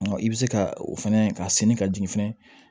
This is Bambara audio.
I bɛ se ka o fɛnɛ ka senni ka jigin fɛnɛ